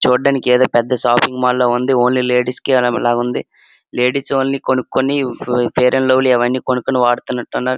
చూడ్డానికి ఎదో పెద్ద షాపింగ్ మాల్ లా ఉంది ఓన్లీ లేడీస్ కె లా ఉంది లేడీస్ ఓన్లీ కొనుక్కొని ఫెయిర్ అండ్ లవ్లీ అవన్నీ కొనుక్కొని వాడుతున్నట్టు ఉన్నారు.